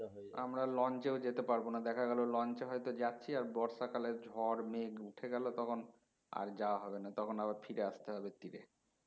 আমরা launch এও যেতে পারবো না দেখা গেলো launch এ হয়তো যাচ্ছি আর বর্ষাকালে ঝড় মেঘ উঠে গেলো তখন আর যাওয়া হবে না তখন আবার ফিরে আসতে হবে তীরে